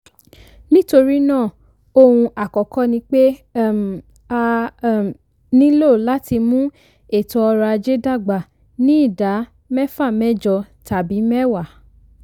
nítorí náà ohun àkọ́kọ́ ni ni pé um a um nílò láti mú ètò ọrọ̀ ajé dàgbà ní ìdá mẹ́fàmẹ́jọ tàbí mẹ́wàá.